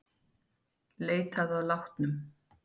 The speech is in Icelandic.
Leitað að látnum